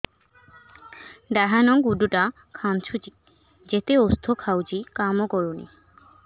ଡାହାଣ ଗୁଡ଼ ଟା ଖାନ୍ଚୁଚି ଯେତେ ଉଷ୍ଧ ଖାଉଛି କାମ କରୁନି